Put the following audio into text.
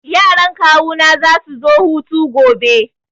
Yaran kawuna za su zo hutu gobe.